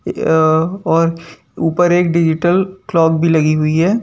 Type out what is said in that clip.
यह और ऊपर एक डिजिटल क्लॉक भी लगी हुई है।